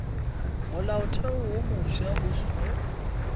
molaotheo wo mofsa o seno